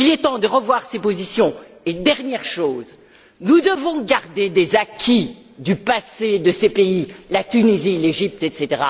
Il est temps de revoir ces positions et, dernière chose, nous devons garder des acquis du passé de ces pays, la Tunisie, l'Égypte, etc.,